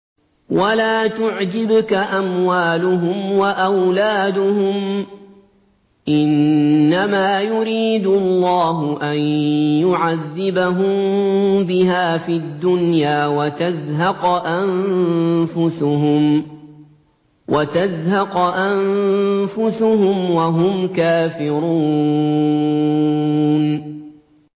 وَلَا تُعْجِبْكَ أَمْوَالُهُمْ وَأَوْلَادُهُمْ ۚ إِنَّمَا يُرِيدُ اللَّهُ أَن يُعَذِّبَهُم بِهَا فِي الدُّنْيَا وَتَزْهَقَ أَنفُسُهُمْ وَهُمْ كَافِرُونَ